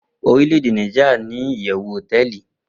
orilede nijiria ni iyewu hoteeli